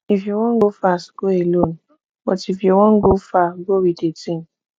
if you wan go fast go alone but if you wan go far go with a team